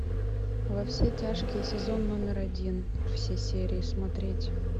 во все тяжкие сезон номер один все серии смотреть